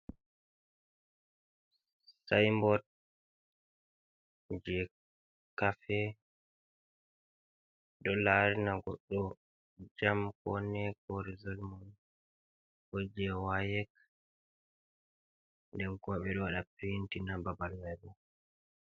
Saimbot je kafe do larina goddo jam kone ko rezolmun koje wayek den kobe do wada pintina babal mai bo.